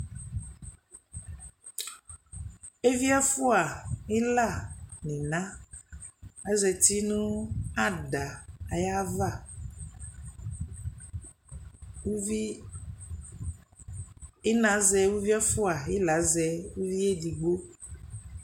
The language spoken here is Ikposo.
Eviɛfua ila ninaa azatinu adaa ayava uuvi inaa azɛ ɛfua ila azɛ uvi ebigbo